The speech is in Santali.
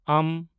ᱢ